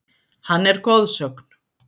Hann er goðsögn.